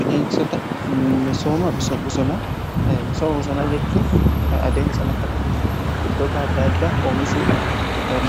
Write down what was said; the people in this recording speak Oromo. bineensota misooma bosonaa jechuun adeensa lafa irratti biqiltoota adda adda oomishuudhaan